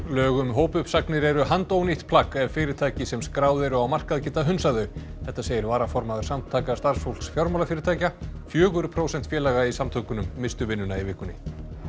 lög um hópuppsagnir eru handónýtt plagg ef fyrirtæki sem skráð eru á markað geta hunsað þau þetta segir varaformaður Samtaka starfsfólks fjármálafyrirtækja fjögur prósent félaga í samtökunum misstu vinnuna í vikunni